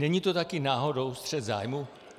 Není to také náhodou střet zájmů?